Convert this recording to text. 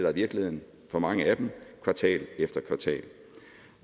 er virkeligheden for mange af dem kvartal efter kvartal